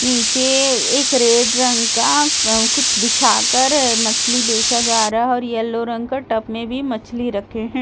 नीचे एक रेड रंग का कुछ बिछा कर मछली बेचा जा रहा और येलो का रंग का टॉप में भी मछली रखे है।